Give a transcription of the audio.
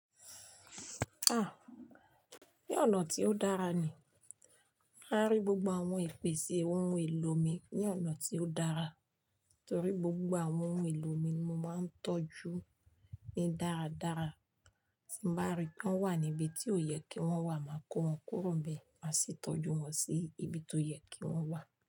Ah! Ní ọ̀nà tí ó dára ni. Árí gbogbo àwọn ìpèsè ohun èlò mi ní ọ̀nà tí ó dára. Torí gbogbo àwọn ohun èlò mi ni mo máa ń tọ́jú ní dáradára. Tí n bá rí pé wọ́n wà níbi tí ò yẹ kí wọ́n wà, máa kó wọn kúrò nbẹ̀, máa sì tọ́jú wọn sí ibi tó yẹ kí wọ́n wà.